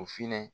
O finɛ